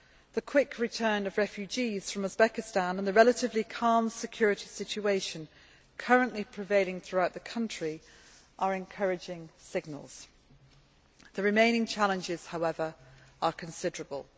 The quick return of refugees from Uzbekistan and the relatively calm security situation currently prevailing throughout the country are encouraging signals. The remaining challenges, however, are considerable.